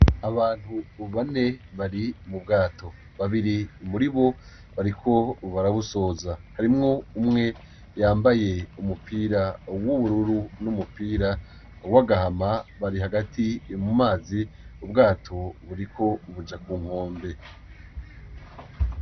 Abantu bane bari mu bwato. Babiri muri bo bariko barabusoza. Harimwo umwe yambaye umupira w'ubururu n'umupira w'agahama, bari hagati mu mazi, ubwato buriko buja ku nkombe.